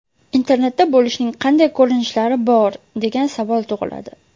Internetda bo‘lishning qanday ko‘rinishlari bor, degan savol tug‘iladi.